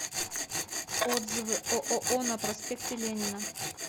отзывы ооо на проспекте ленина